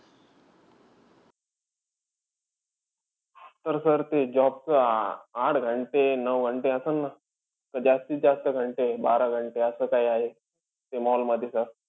तर sir ते job च आ अं आठ घंटे-नऊ घंटे असंन न? का जास्तीत जास्त घंटे-बारा घंटे असं काई आहे? ते mall मधी sir?